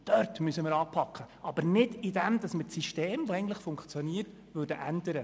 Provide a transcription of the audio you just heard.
Dort müssen wir anpacken und nicht, indem wir das eigentlich funktionierende System ändern.